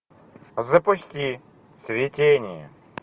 запусти цветение